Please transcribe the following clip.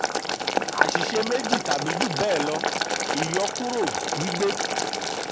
àṣìṣe méjì tàbí jù bẹ́ẹ̀ lọ: ìyọkúrò gbígbé.